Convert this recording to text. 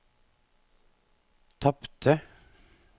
tapte